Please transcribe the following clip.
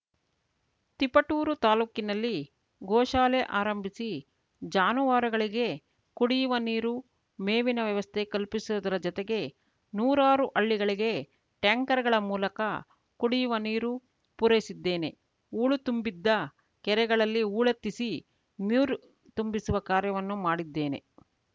ತಿಪಟೂರು ತಾಲ್ಲೂಕಿನಲ್ಲಿ ಗೋಶಾಲೆ ಆರಂಭಿಸಿ ಜಾನುವಾರುಗಳಿಗೆ ಕುಡಿಯುವ ನೀರು ಮೇವಿನ ವ್ಯವಸ್ಥೆ ಕಲ್ಪಿಸುವುದರ ಜೊತೆಗೆ ನೂರಾರು ಹಳ್ಳಿಗಳಿಗೆ ಟ್ಯಾಂಕರ್‌ಗಳ ಮೂಲಕ ಕು‌ಡಿಯುವ ನೀರು ಪೂರೈಸಿದ್ದೇನೆ ಹೂಳು ತುಂಬಿದ್ದ ಕೆರೆಗಳಲ್ಲಿ ಹೂಳೆತ್ತಿಸಿ ಮ್ಯೂರು ತುಂಬಿಸುವ ಕಾರ್ಯವನ್ನು ಮಾಡಿದ್ದೇನೆ